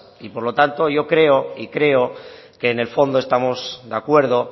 y por lo tanto yo creo y creo que en el fondo estamos de acuerdo